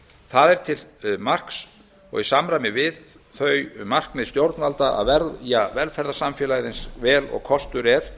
það er til marks og í samræmi við þau markmið stjórnvalda að verja velferðarsamfélagið eins vel og kostur er